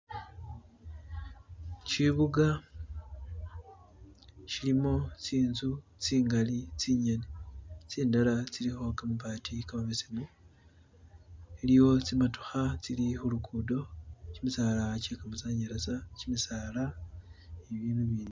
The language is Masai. chibuga chilimo tsinzu tsingali tsinyene tsindala tsiliho kamabati kamabesemu eliyo tsimotoha tsili hulukudo chimisala chekamasanyalaza chimisala ni bibindu bindi